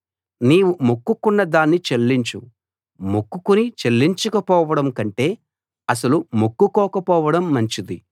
నీవు మొక్కుకున్న దాన్ని చెల్లించు మొక్కుకుని చెల్లించకపోవడం కంటే అసలు మొక్కుకోకపోవడం మంచిది